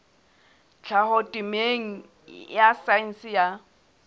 tlhaho temeng ya saense ya